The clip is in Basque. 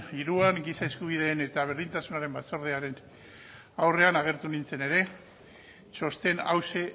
hiruan giza eskubideen eta berdintasunaren batzordearen aurrean agertu nintzen ere txosten hauxe